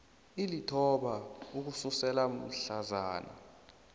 alithoba ukusukela mhlazana